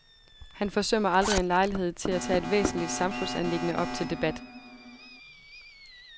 Han forsømmer aldrig en lejlighed til at tage et væsentligt samfundsanliggende op til debat.